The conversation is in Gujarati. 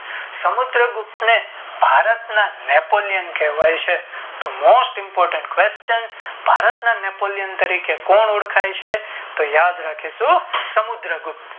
સમુદ્ર ગુપ્ત ને ભારત ના નેપોલિયેન કહેવાય છે તો Most Important Question ભારત ના નેપોલિયન તરીકે કોણ ઓળખાય છે તો યાદ રાખીશું સમુદ્ર ગુપ્ત